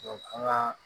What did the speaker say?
ŋaa